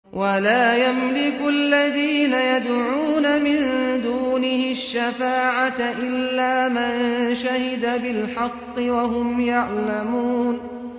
وَلَا يَمْلِكُ الَّذِينَ يَدْعُونَ مِن دُونِهِ الشَّفَاعَةَ إِلَّا مَن شَهِدَ بِالْحَقِّ وَهُمْ يَعْلَمُونَ